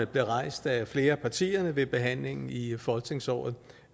blev rejst af flere af partierne ved behandlingen i folketingsåret